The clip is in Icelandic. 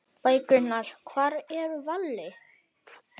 Bækurnar Hvar er Valli?